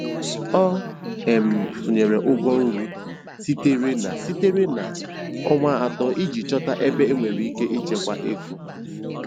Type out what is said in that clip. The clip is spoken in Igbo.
Ọ um tụnyere ụgwọ nri sitere na sitere na ọnwa atọ iji chọta ebe enwere ike ịchekwa ego.